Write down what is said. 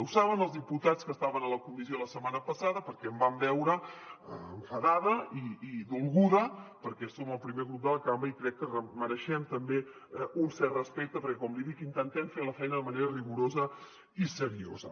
ho saben els diputats que estaven a la comissió la setmana passada perquè em van veure enfadada i dolguda perquè som el primer grup de la cambra i crec que mereixem també un cert respecte perquè com li dic intentem fer la feina de manera rigorosa i seriosa